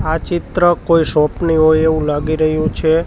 આ ચિત્ર કોઈ શોપ ની હોઈ એવુ લાગી રહ્યુ છે.